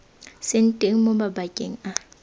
seng teng mo mabakeng a